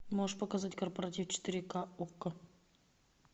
можешь показать корпоратив четыре ка окко